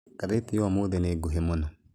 Ngathĩti ya ũmũthĩ nĩ nguhĩ mũno.